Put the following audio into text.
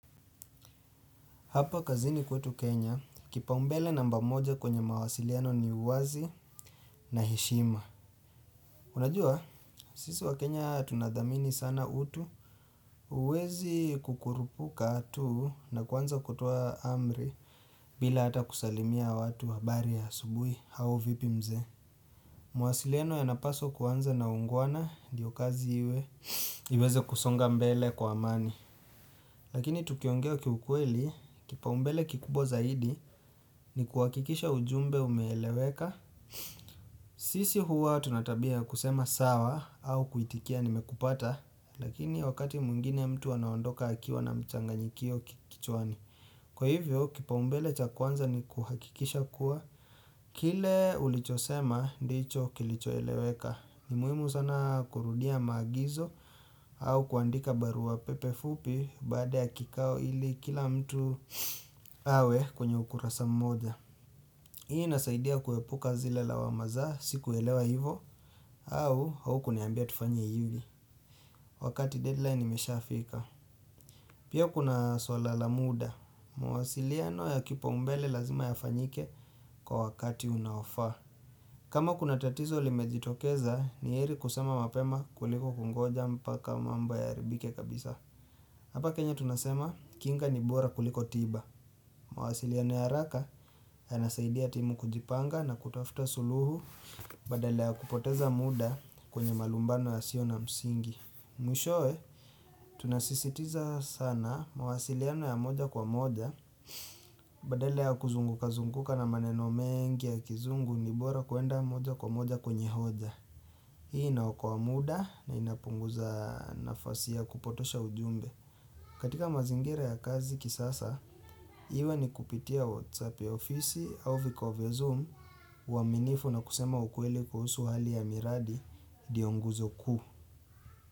Hapa kazini kwetu Kenya, kipaumbele namba moja kwenye mawasiliano ni uwazi na heshima. Unajua, sisi waKenya tunadhamini sana utu, huwezi kukurupuka tuu na kuanza kutoa amri bila hata kusalimia watu habari ya asubuhi au vipi mzee. Mawasiliano yanapaswa kuanza na uungwana ndiyo kazi iwe, iweze kusonga mbele kwa amani. Lakini tukiongeo kiukweli, kipaumbele kikubwa zaidi ni kuhakikisha ujumbe umeeleweka sisi huwa tuna tabya kusema sawa au kuitikia nimekupata Lakini wakati mwngine mtu anaondoka akiwa na mchanganyikio kichwani Kwa hivyo, kipaumbele cha kwanza ni kuhakikisha kuwa Kile ulichosema, ndicho kilicho eleweka ni muhimu sana kurudia maagizo au kuandika barua pepe fupi baada ya kikao ili kila mtu awe kwenye ukurasa mmoja Hii inasaidia kuepuka zile lawama za sikuelewa hivo au haukuniambia tufanyi hivi Wakati deadline imesha fika Pia kuna swala la muda mawasiliano ya kipaumbele lazima yafanyike kwa wakati unaofaa kama kuna tatizo limejitokeza ni yeri kusema mapema kuliko kungoja mpaka mambo yaharibike kabisa Hapa kenya tunasema kinga ni bora kuliko tiba mawasiliano ya haraka yanasaidia timu kujipanga na kutafuta suluhu badala ya kupoteza muda kwenye malumbano yasio na msingi Mwishoe tunasisitiza sana mawasiliano ya moja kwa moja badala ya kuzunguka zunguka na maneno mengi ya kizungu ni bora kuenda moja kwa moja kwenye hoja Hii inaokoa muda na inapunguza nafasi ya kupotosha ujumbe. Katika mazingira ya kazi kisasa, iwe ni kupitia WhatsApp ya ofisi au vikao vya zoom uaminifu na kusema ukweli kuhusu hali ya miradi ndiyo nguzo kuu.